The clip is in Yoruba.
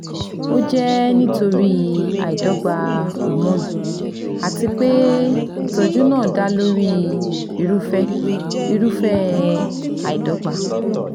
Ó jẹ́ nítorí àìdọ́gba hormone àti pé ìtọ́jú náà dá lórí irúfẹ́ irúfẹ́ àìdọ́gba